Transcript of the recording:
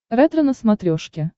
ретро на смотрешке